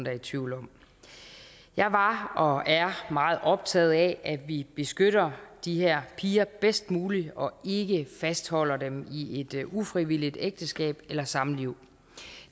er i tvivl om jeg var og er meget optaget af at vi beskytter de her piger bedst muligt og ikke fastholder dem i et ufrivilligt ægteskab eller samliv